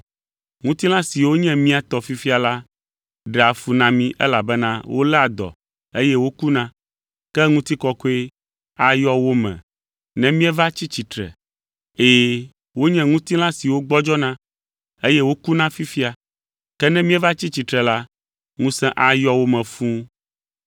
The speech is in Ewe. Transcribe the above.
Ŋutilã siwo nye mía tɔ fifia la ɖea fu na mí elabena woléa dɔ, eye wokuna, ke ŋutikɔkɔe ayɔ wo me ne míeva tsi tsitre. Ɛ̃, wonye ŋutilã siwo gbɔdzɔna, eye wokuna fifia, ke ne míeva tsi tsitre la, ŋusẽ ayɔ wo me fũu.